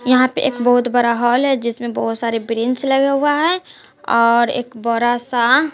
यहां पे एक बहुत बड़ा हाल है जिसमें बहुत सारे ब्रेंच लगा हुआ है और एक बरा सा--